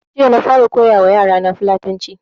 Jiya na fara koya wa yara na Fulatanci